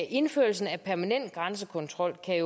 indførelsen af permanent grænsekontrol kan